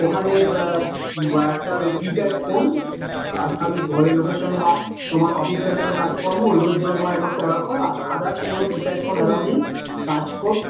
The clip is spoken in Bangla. ওখানে বা একটা keypad phone আর খালি ঘরের লোকের সঙ্গে বা তোমার officially কোন কাজকর্ম ওই গুলোর জন্য তোমার মাত্র allow করে others কোনো keypad কোনো allow নেই কাজ